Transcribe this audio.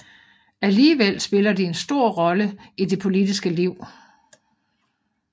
Alligevel spiller de en stor rolle i det politiske liv